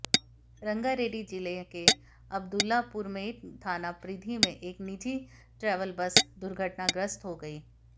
रंगारेड्डी जिले के अब्दुल्लापुरमेट थाना परिधि में एक निजी ट्रैवेल बस दुर्घटनाग्रस्त हो गई